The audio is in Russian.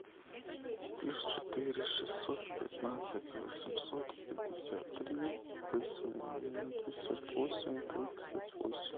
плюс четыре шестьсот пятнадцать восемьсот пятьдесят три восемьдесят восемь тридцать восемь